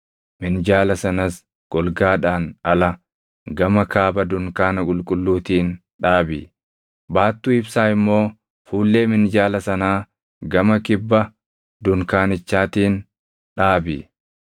Minjaala sanas golgaadhaan ala, gama kaaba dunkaana qulqulluutiin dhaabi; baattuu ibsaa immoo fuullee minjaala sanaa gama kibba dunkaanichatiin dhaabi.